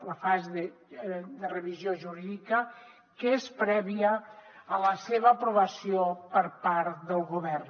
la fase de revisió jurídica que és prèvia a la seva aprovació per part del govern